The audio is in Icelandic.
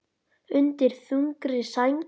Undir þungri sæng